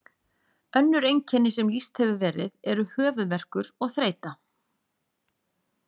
Önnur einkenni sem lýst hefur verið eru höfuðverkur og þreyta.